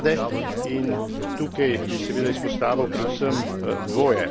za mlade in tukaj bi seveda izpostavil predvsem dvoje.